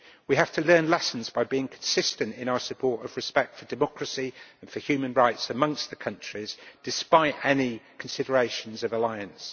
We have to learn lessons by being consistent in our support of respect for democracy and for human rights amongst the countries, despite any considerations of alliance.